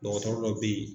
Dɔgɔtɔrɔ dɔ bɛ yen